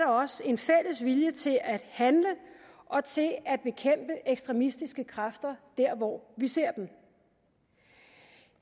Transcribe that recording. også en fælles vilje til at handle og til at bekæmpe ekstremistiske kræfter der hvor vi ser dem